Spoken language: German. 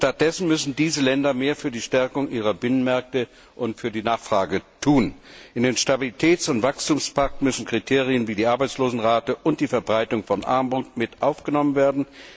Stattdessen müssen diese Länder mehr für die Stärkung ihrer Binnenmärkte und für die Nachfrage tun. In den Stabilitäts und Wachstumspakt müssen Kriterien wie die Arbeitslosenrate und die Verbreitung von Armut mit aufgenommen werden.